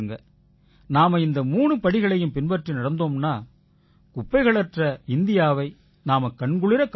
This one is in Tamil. நாம இந்த மூணு படிகளைப் பின்பற்றி நடந்தோம்னா குப்பைக்கூளங்களற்ற இந்தியாவை நாம கண்குளிரக் காண முடியும்